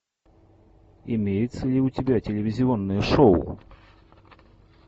имеется ли у тебя телевизионное шоу